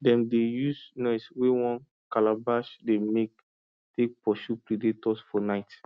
dem dey use noise wey one calabash dey make take pursue predators for night